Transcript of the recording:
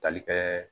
Tali kɛ